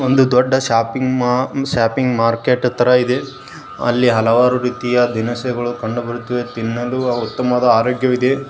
ಒಂದು ದೊಡ್ಡ shopping market ತರ ಇದೆ ಅಲ್ಲಿ ಹಲವಾರು ರೀತಿಯ ದಿನಸಿಗಳು ಕಂಡು ಬರುತ್ತಿದ್ದೆ ತಿನ್ನಲು ಉತ್ತಮವಾದ ಆರೋಗ್ಯವಿದೆ.